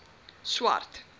swart